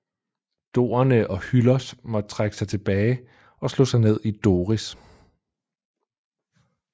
Dorerne og Hyllos måtte trække sig tilbage og slog sig ned i Doris